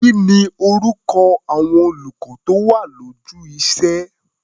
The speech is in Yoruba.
Kí ni orúkọ àwọn olùkọ́ tó wà lójú iṣé?